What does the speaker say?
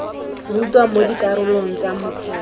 rutwa mo dikarolong tsa motheo